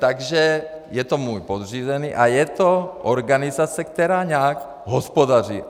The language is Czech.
Takže je to můj podřízený a je to organizace, která nějak hospodaří.